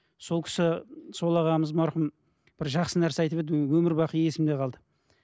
сол кісі сол ағамыз марқұм бір жақсы нәрсе айтып еді өмір бақи есімде қалды